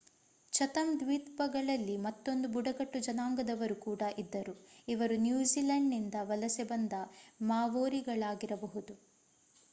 Chatham ದ್ವೀಪಗಳಲ್ಲಿ ಮತ್ತೊಂದು ಬುಡಕಟ್ಟು ಜನಾಂಗದವರು ಕೂಡ ಇದ್ದರು ಇವರು ನ್ಯೂಜಿಲೆಂಡ್‌ನಿಂದ ವಲಸೆ ಬಂದ ಮಾವೋರಿಗಳಾಗಿರಬಹುದು